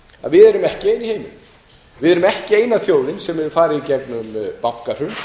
að við erum ekki ein í heiminum við erum ekki eina þjóðin sem hefur farið í gegnum bankahrun